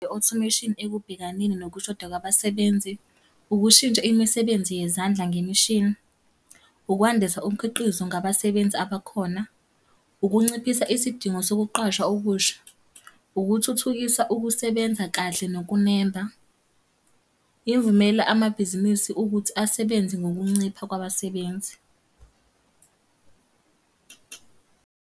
I-automation ekubhekaneni nokushoda kwabasebenzi. Ukushintsha imisebenzi yezandla ngemishini. Ukwandisa umkhiqizo ngabasebenzi abakhona. Ukunciphisa isidingo sokuqashwa okusha. Ukuthuthukisa ukusebenza kahle nokunemba. Imvumela amabhizinisi ukuthi asebenze ngokuncipha kwabasebenzi.